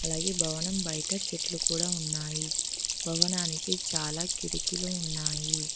అలాగే భవనం బయట చెట్లూ కూడ ఉన్నాయి భవనానికి చాలా కిటికీలు ఉన్నాయి.